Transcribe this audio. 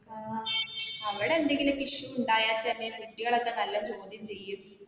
ഏർ അവിടെ എന്തെങ്കിലും ഒക്കെ issue ഇണ്ടായാ തന്നെ കുട്ടികളൊക്കെ നല്ല ചോദ്യം ചെയ്യും